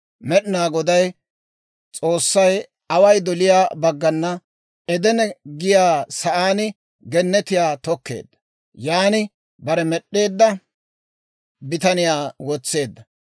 Med'inaa Goday S'oossay away doliyaa baggana Edene giyaa sa'aan gennetiyaa tokkeedda; yan bare med'd'eedda bitaniyaa wotseedda.